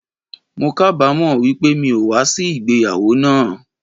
Mo kábamo wípé mi o wa sí ìgbéyàwó náà àn